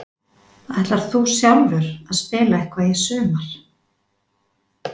Ætlar þú sjálfur að spila eitthvað í sumar?